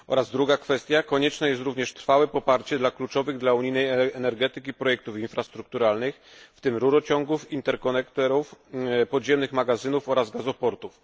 Druga kwestia konieczne jest również trwałe wspieranie kluczowych dla unijnej energetyki projektów infrastrukturalnych, w tym rurociągów, interkonekterów, podziemnych magazynów oraz gazoportów.